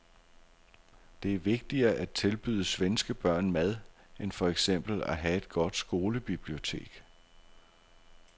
Det er vigtigere at tilbyde svenske børn mad end for eksempel at have et godt skolebibliotek.